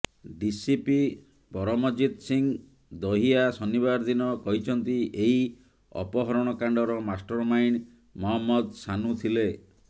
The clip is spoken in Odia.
ଡିସିପି ପରମଜିତ୍ ସିଂହ ଦହିଆ ଶନିବାର ଦିନ କହିଛନ୍ତି ଏହି ଅପହରଣକାଣ୍ଡର ମାଷ୍ଟର ମାଇଣ୍ଡ ମହମ୍ମଦ ଶାନୁ ଥିଲେ